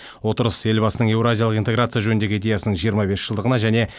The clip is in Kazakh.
отырыс елбасының еуразиялық интеграция жөніндегі идеясының жиырма бес жылдығына және